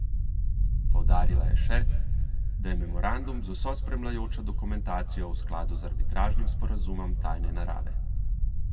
Poudarila je še, da je memorandum z vso spremljajočo dokumentacijo v skladu z arbitražnim sporazumom tajne narave.